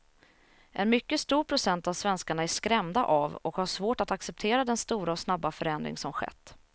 En mycket stor procent av svenskarna är skrämda av och har svårt att acceptera den stora och snabba förändring som skett.